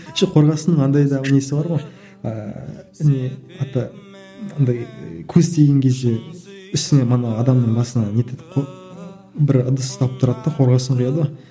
еще қорғасынның андай да несі бар ғой ыыы не аты андай көз тиген кезде ішіне мана адамның басына нетіп бір ыдыс ұстап тұрады да қорғасын құяды ғой